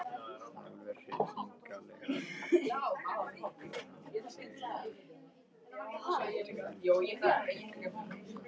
Alveg hryllilegur þegar hann tekur sig til, bætti Gurrý við.